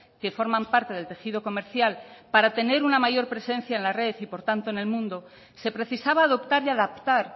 que forman parte del tejido comercial para tener una mayor presencia en la red y por tanto en el mundo se precisaba adoptar y adaptar